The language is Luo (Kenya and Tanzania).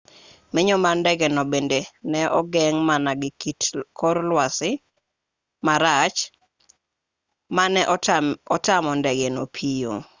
menyo mar ndengeno bende ne ogeng' mana gi kit kor lwasi marach ma ne otamo ndegeno piyo